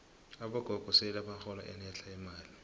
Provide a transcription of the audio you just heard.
abogogo sele bahola enetlha imali